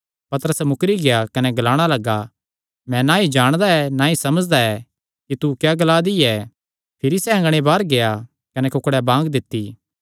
पतरस मुकरी गेआ कने ग्लाणा लग्गा मैं ना ई जाणदा ना ई समझदा कि तू क्या ग्ला दी ऐ भिरी सैह़ अँगणे बाहर गेआ कने कुक्ड़े बांग दित्ती